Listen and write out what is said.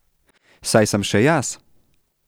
Saj sem še jaz.